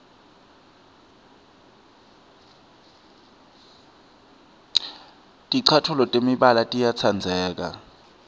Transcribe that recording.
ticatfuco temibala tiyatsandzeka